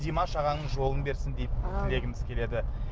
димаш ағаңның жолын берсін деймін тілегіміз келеді